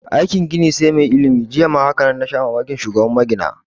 Aikin gini sai mai ilimi, jiya haka na rika shan mamakin aikin shugaban magina